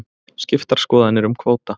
Skiptar skoðanir um kvóta